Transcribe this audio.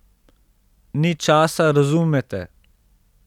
Ni časa, razumete.